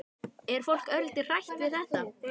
Er fólk örlítið hrætt við þetta?